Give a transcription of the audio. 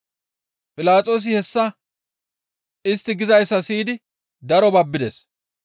Philaxoosi hessa istti gizayssa siyidi daro babbides.